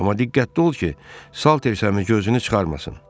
Amma diqqətli ol ki, Saltersəmi gözünü çıxarmasın.